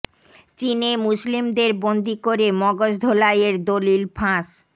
চীনে মুসলিমদের বন্দী করে মগজ ধোলাই এর দলিল ফাঁস